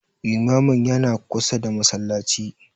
Limamin yana kusa da Masallaci